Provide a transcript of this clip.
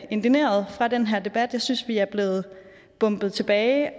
indigneret fra den her debat jeg synes vi er blevet bombet tilbage